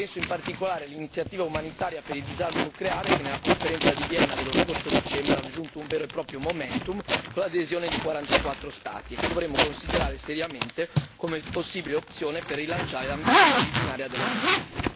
Penso in particolare all'iniziativa umanitaria per il disarmo nucleare, che nella Conferenza di Vienna dello scorso dicembre ha raggiunto un vero e proprio momentum con l'adesione di 44 Stati, e che dovremmo considerare seriamente come possibile opzione per rilanciare l'ambizione originaria dell'NPT.